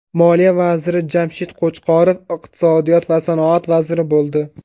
Moliya vaziri Jamshid Qo‘chqorov iqtisodiyot va sanoat vaziri bo‘ldi.